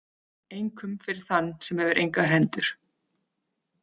Einkum fyrir þann sem hefur engar hendur.